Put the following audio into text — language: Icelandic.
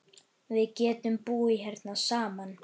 Við getum búið hérna saman.